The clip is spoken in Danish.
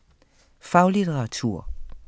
Faglitteratur